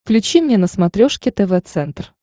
включи мне на смотрешке тв центр